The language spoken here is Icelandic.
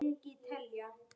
Svo út í garð.